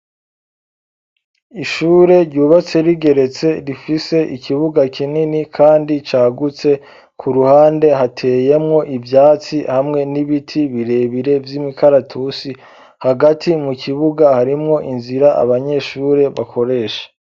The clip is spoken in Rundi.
Ishure ryubatse rigeretse rifise ikibuga kinini kandi cagutse kuruhande hateyemwo ivyatsi hamwe n'ibiti birebire vy'imikaratusi hagati mu kibuga harimwo inzira abanyeshure bakoresha.